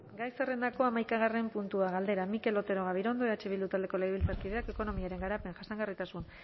gai zerrentako hamaikagarrena puntua galdera mikel otero gabirondo eh bildu taldeko legebiltzarkideak ekonomiaren garapen jasangarritasun